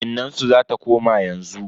Innansu zata koma yanzu.